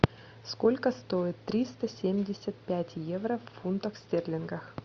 сколько стоит триста семьдесят пять евро в фунтах стерлинга